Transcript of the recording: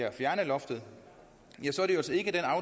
at fjerne loftet